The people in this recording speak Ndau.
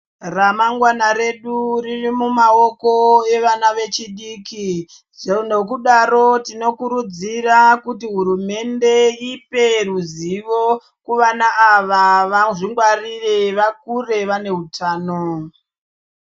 Ramangwana redu riri mumaoko evana vechidiki. Nekudaro tinokurudzira kuti hurumende ipe ruzivo kuvana ava vazvingwarire vakure vane utano.